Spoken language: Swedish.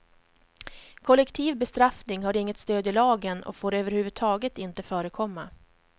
Kollektiv bestraffning har inget stöd i lagen och får över huvud taget inte förekomma.